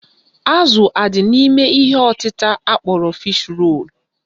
Azụ adị n'ime ihe ọtịta akpọrọ Fish role?